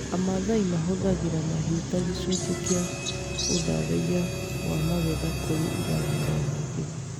Amaathai mahũthagĩra mahiũ ta gĩcunjĩ kĩa ũthathaiya wa magetha kũrĩ irathimo nyingĩ.